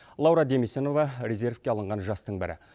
лаура демесінова резервке алынған жастың бірі